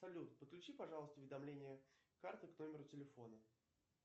салют подключи пожалуйста уведомления карты к номеру телефона